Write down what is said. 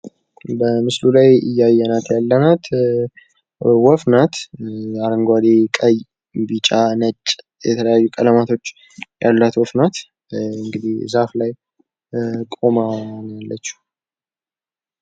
በምስሉ ላይ እያየናት ያለናት ወፍ ናት። አረንጓደ ፣ ቀይ፣ ቢጫ ፣ ነጭ የተለያየ ቀለም ያላት ወፍ ናት። ያው እንዲ ዛፍ ላይ ቆማ ነው ያለችው።